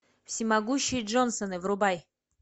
всемогущие джонсоны врубай